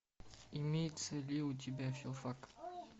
имеется ли у тебя филфак